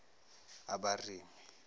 abarimi